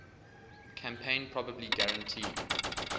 campaign probably guaranteed